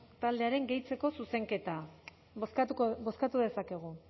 taldearen gehitzeko zuzenketa bozkatuko bozkatu dezakegu